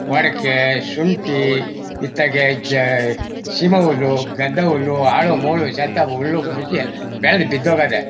ವಡಿಕೆ ಶುಂಠಿ ಇತ್ತೆಗೆ ಝ ಶಿವ ಹುಲ್ಲು ಗದ್ಧಹುಲ್ಲು ಹಾಳು ಮೂಳು ಶಥಮುಳ್ಳು ಮುಶಿ ಎಲ್ಲ ಬೆಳ್ದ ಬಿದ್ದ್ ಹೋಗದೆ.